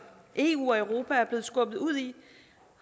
eu og europa er blevet skubbet ud i